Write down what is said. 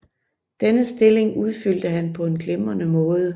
Denne stilling udfyldte han på en glimrende måde